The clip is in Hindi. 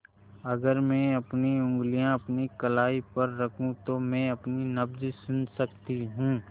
अगर मैं अपनी उंगलियाँ अपनी कलाई पर रखूँ तो मैं अपनी नब्ज़ सुन सकती हूँ